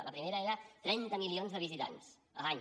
la primera era trenta milions de visitants l’any